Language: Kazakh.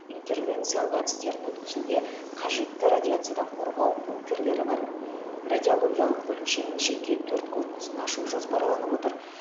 интервенциялық әдістерін өткізуге қажетті радиациядан қорғау бункерлері бар радиологиялық бөлімшенің жеке төрт корпусын ашу жоспарланып отыр